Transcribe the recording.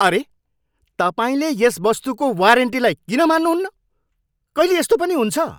अरे! तपाईँले यस वस्तुको वारेन्टीलाई किन मान्नहुन्न? कहिले यस्तो पनि हुन्छ?